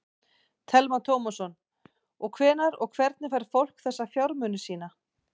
Telma Tómasson: Og hvenær og hvernig fær fólk þessa fjármuni sína?